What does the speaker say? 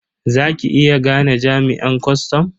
Za ki iya gane jami'an kwastam?